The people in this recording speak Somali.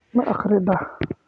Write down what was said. Ma akhridaa?